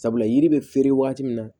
Sabula yiri bɛ feere waati min na